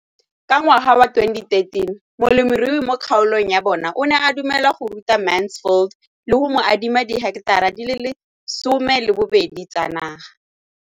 Ka ngwaga wa 2013, molemirui mo kgaolong ya bona o ne a dumela go ruta Mansfield le go mo adima di heketara di le 12 tsa naga.